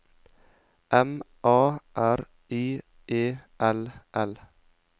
M A R I E L L